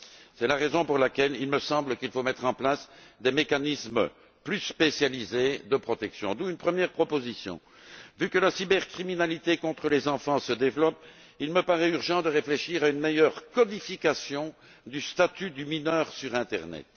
C'est la raison pour laquelle il me semble qu'il faut mettre en place des mécanismes plus spécialisés de protection. D'où une première proposition vu que la cybercriminalité contre les enfants se développe, il me paraît urgent de réfléchir à une meilleure codification du statut du mineur sur l'internet.